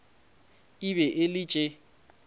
e be e le tše